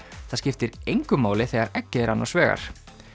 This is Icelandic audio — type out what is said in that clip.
það skiptir engu máli þegar eggið er annars vegar